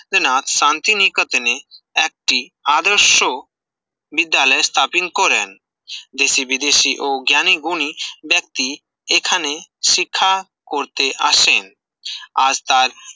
ন্দ্রনাথ শান্তিনিকেতনে একটি আদর্শ বিদ্যালয় স্থাপন করেন দেশে-বিদেশি ও জ্ঞানীগুণী ব্যক্তি এখানে শিক্ষা করতে আসেন আর তার